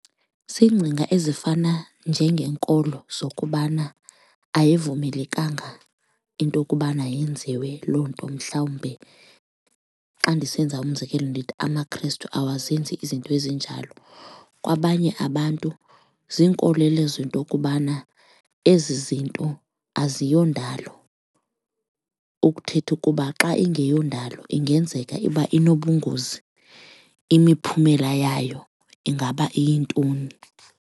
Ziingcinga ezifana njengeenkolo zokubana ayivumelekanga into yokubana yenziwe loo nto mhlawumbe xa ndisenza umzekelo ndithi amaKhrestu awazenzi izinto ezinjalo. Kwabanye abantu ziinkolelo zento okubana ezi zinto aziyondalo, ukuthetha ukuba xa ingeyondalo ingenzeka uba inobungozi imiphumela yayo ingaba iyintoni.